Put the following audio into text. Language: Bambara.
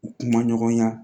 U kuma ɲɔgɔnya